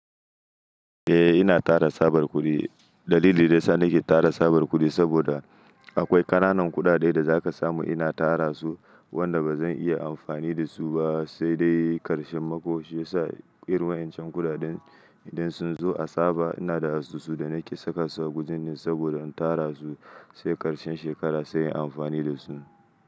Eh ina tara tsabar kudi. Dalilin da yasa nake tara tsabar kudi saboda akwai ƙananan kuɗaɗe da zaka samu ina tara su wanda ba zan iya amfani da su ba, sai dai karshen mako shi ya sa irin wa'incan kuɗaɗen idan sun zo a tsaba ina da a susu da nake saka su a gujin nan saboda in tara su sai karshen shekara sai in yi amfani da su.